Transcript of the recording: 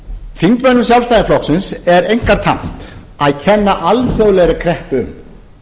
þingmönnum sjálfstæðisflokksins er einkar tamt að kenna alþjóðlegri kreppu um